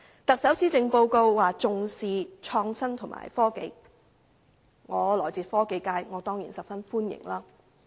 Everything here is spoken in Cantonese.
特首的施政報告表示重視創新及科技，我來自科技界，對此當然十分歡迎。